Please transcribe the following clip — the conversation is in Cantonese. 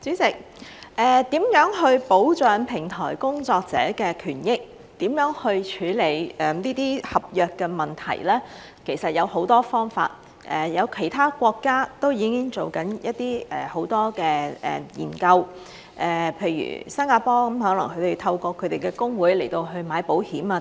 主席，如何保障平台工作者的權益，如何處理這些合約的問題，其實有很多方法，其他國家都已經正在做很多研究，譬如新加坡，可能他們透過他們的工會去買保險等。